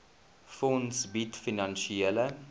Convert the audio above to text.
fonds bied finansiële